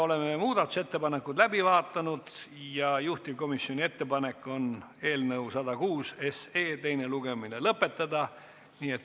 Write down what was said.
Oleme muudatusettepanekud läbi vaadanud ja juhtivkomisjoni ettepanek on eelnõu 106 teine lugemine lõpetada.